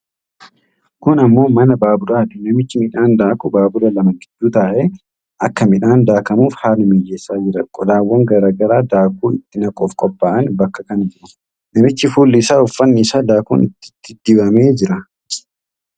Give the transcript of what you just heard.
Kun ammoo mana baaburaati. Namichi midhaan daaku baabura lama gidduu taa'ee akka midhaan daakamuuf haala mijeessaa jira. Qodaawwan garaa garaa daakuu itti naquuf qophaa'an bakka kana jiru. Namichi fuulli isaa fi uffanni isaa daakuun itti dibamee jira.